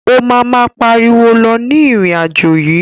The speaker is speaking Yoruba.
O ma ma pariwo lọ ní irin-ajo yii.